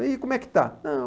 E como é que está? Não